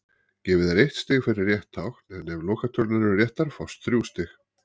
Gefið er eitt stig fyrir rétt tákn en ef lokatölurnar eru réttar fást þrjú stig.